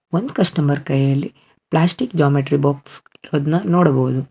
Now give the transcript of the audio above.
ಒಂದ್ ಕಸ್ಟಮರ್ ಕೈಯಲ್ಲಿ plastic geometry box ಇರೋದ್ನ ನೋಡಬಹುದು.